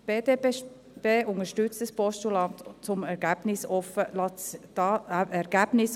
Die BDP unterstützt das Postulat, um ergebnisoffen zu sein.